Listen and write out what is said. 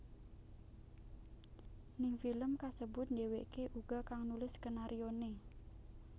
Ning film kasebut dheweké uga kang nulis skenarioné